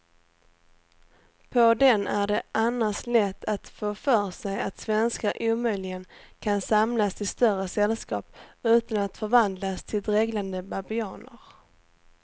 På den är det annars lätt att få för sig att svenskar omöjligen kan samlas i större sällskap utan att förvandlas till dreglande babianer.